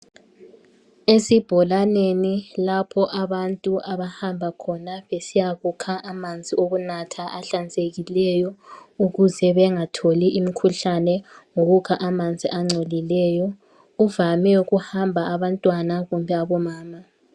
Esibholaneni lapho abantu abahamba khona besiyakukha amanzi okunatha ahlanzekileyo ukuze bengatholi imkhuhlane ngokukha amanzi angcolileyo. Kuvame ukuhamba abantwana kumbe omama.